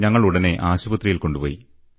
ഞങ്ങളുടനെ ആശുപത്രിയിൽ കൊണ്ടുപോയി